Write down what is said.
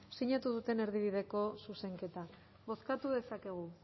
sinatu duten erdibideko zuzenketa bozkatu dezakegu